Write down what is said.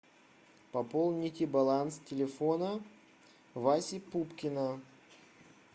пополните баланс телефона васи пупкина